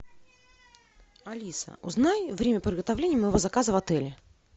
алиса узнай время приготовления моего заказа в отеле